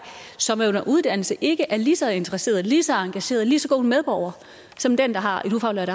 som er under uddannelse ikke er lige så interesseret lige så engageret lige så god en medborger som den der har et ufaglært